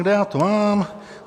kde já to mám...